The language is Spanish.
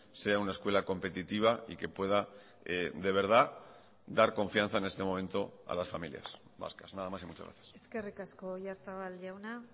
sea una escuela competitiva y que pueda de verdad dar confianza en este momento a las familias vascas nada más y muchas gracias eskerrik asko oyarzabal jauna